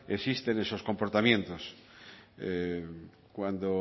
existen esos comportamientos cuando